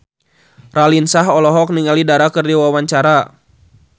Raline Shah olohok ningali Dara keur diwawancara